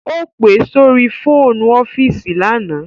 Ó pe sórí fóònù ọ́fíìsì lánàá